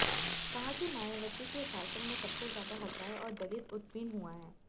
कहा कि मायावती के शासन में सबसे ज्यादा हत्याएं और दलित उत्पीडन हुआ